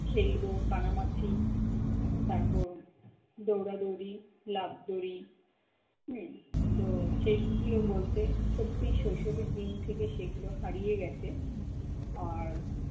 খেলবো কানামাছি, তারপর দৌড়াদৌড়ি, লাফ দড়ি হম তো সেগুলো বলতে সত্যি শৈশবের দিন থেকে সেগুলো হারিয়ে গেছে আর